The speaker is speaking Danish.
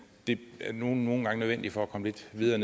det er nu nogle gange nødvendigt for at komme lidt videre